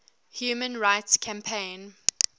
human rights campaign